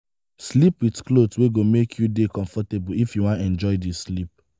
sleep with cloth wey go make you dey comfortable if you wan enjoy di sleep